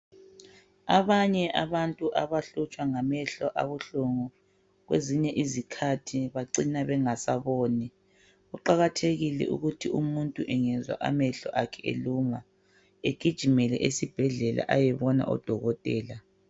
Abanye abantu abahlutshwa ngamehlo abahlungu, kwezinye izikhathi bacina bengasaboni. Kuqakathekike ukuthi umuntu angezwa amehlo akhe eluma, agijimele esibhedlela. Ayebona odokotela.